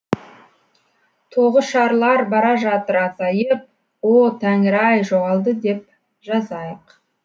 тоғышарлар бара жатыр азайып о тәңір ай жоғалды деп жазайық